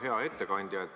Hea ettekandja!